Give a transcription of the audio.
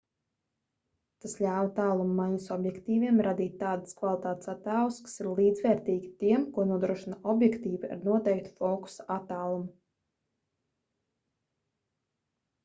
tas ļāva tālummaiņas objektīviem radīt tādas kvalitātes attēlus kas ir līdzvērtīgi tiem ko nodrošina objektīvi ar noteiktu fokusa attālumu